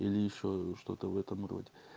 или ещё что-то в этом роде